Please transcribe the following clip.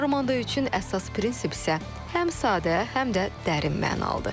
Armando üçün əsas prinsip isə həm sadə, həm də dərin mənalıdır.